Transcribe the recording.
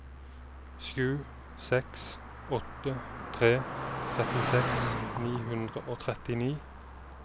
sju seks åtte tre trettiseks ni hundre og trettini